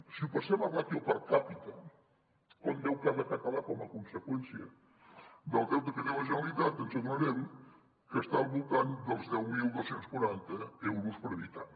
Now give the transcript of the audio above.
si ho passem a ràtio per capita quant deu cada català com a conseqüència del deute que té la generalitat ens adonarem que està al voltant dels deu mil dos cents i quaranta euros per habitant